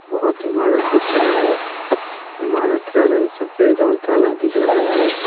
बहुत इमारत दिख रहा है इमारत का रंग सफेद और काला दिख रहा है।